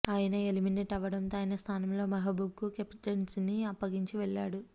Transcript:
ఆయన ఎలిమినేట్ అవ్వడంతో ఆయన స్థానంలో మెహబూబ్ కు కెప్టెన్సీని అప్పగించి వెళ్లాడు